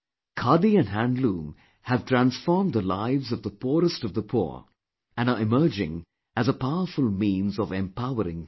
Khadi and handloom have transformed the lives of the poorest of the poor and are emerging as a powerful means of empowering them